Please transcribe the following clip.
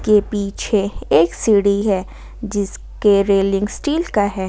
ये पीछे एक सीढ़ी है जिसके रेलिंग स्टील का है।